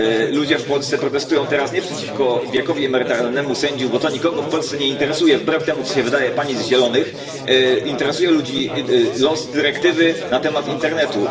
Ludzie w Polsce protestują teraz nie przeciwko wiekowi emerytalnemu sędziów, bo to nikogo w Polsce nie interesuje wbrew temu, co się wydaje pani z Zielonych. Interesuje ludzi los dyrektywy na temat internetu.